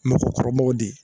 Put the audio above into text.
Mɔgɔkɔrɔbaw de